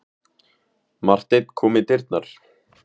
Marteinn kom í dyrnar.